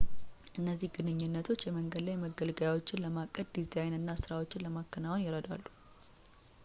እነዚህ ግንኙነቶች የመንገድ ላይ መገልገያዎችን ለማቀድ ፣ ዲዛይን እና ሥራዎችን ለማከናወን ይረዳሉ